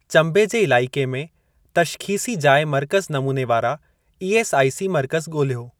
चंबे जे इलाइक़े में तशख़ीसी जाइ मर्कज़ नमूने वारा ईएसआइसी मर्कज़ ॻोल्हियो।